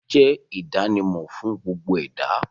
Ẹbí jẹ́ ìdánimọ̀ fún gbogbo ẹ̀dá